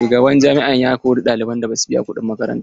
Shugaban jami'a ya kori ɗaliban da basu biya kuɗin makaranta ba.